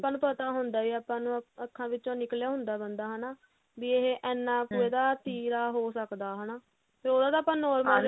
ਆਪਾਂ ਨੂੰ ਪਤਾ ਹੁੰਦਾ ਆਪਾਂ ਨੂੰ ਅੱਖਾਂ ਵਿੱਚੋ ਨਿਕਲਿਆ ਹੁੰਦਾ ਬੰਦਾ ਹਨਾ ਵੀ ਇਹ ਇੰਨਾ ਕੁ ਇਹਦਾ ਤੀਰਾ ਹੋ ਸਕਦਾ ਹਨਾ ਫੇਰ ਉਹਦਾ ਤਾਂ ਆਪਾਂ normal